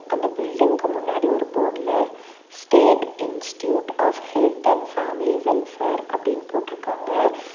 அந்த பில்டிங்கு முன்னாடி ஒரு போர்டுல state institute of health and family welfare அப்டினு போட்ருக்காங்க.